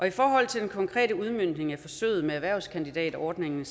i forhold til den konkrete udmøntning af forsøget med erhvervskandidatordningen